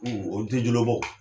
O ti jolobɔ